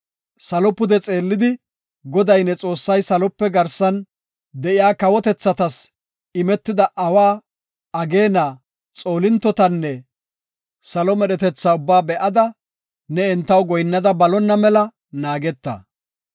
Salo pude xeellida, Goday ne Xoossay salope garsan de7iya kawotethatas imida awa, ageena, xoolintotanne salo medhetethata ubbaa be7ida, ne entaw goyinnada balonna mela naageta.